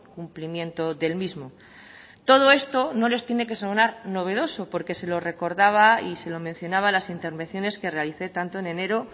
cumplimiento del mismo todo esto no les tiene que sonar novedoso porque se lo recordaba y se lo mencionaba en las intervenciones que realicé tanto en enero